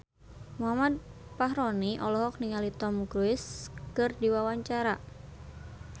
Muhammad Fachroni olohok ningali Tom Cruise keur diwawancara